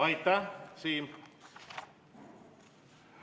Aitäh, Siim!